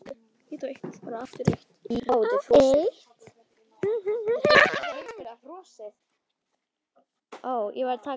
Guðný hugsar sig um.